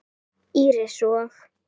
Íris og